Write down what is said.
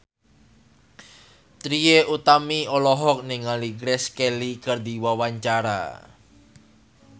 Trie Utami olohok ningali Grace Kelly keur diwawancara